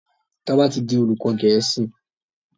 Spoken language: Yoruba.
Toba tí dì olùkó gèésì.